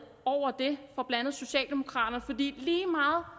over det fra blandt andet socialdemokraterne det